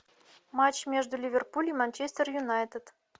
матч между ливерпуль и манчестер юнайтед